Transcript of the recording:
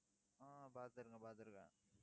ஆஹ் பாத்துருக்கேன் பாத்துருக்கேன்